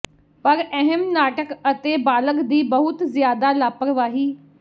ਪਰ ਅਹਿਮ ਨਾਟਕ ਅਤੇ ਬਾਲਗ ਦੀ ਬਹੁਤ ਜ਼ਿਆਦਾ ਲਾਪਰਵਾਹੀ